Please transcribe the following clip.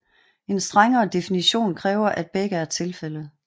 En strengere definition kræver at begge er tilfældet